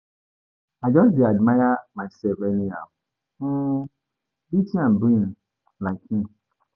I just dey admire myself anyhow. um Beauty and brain like me.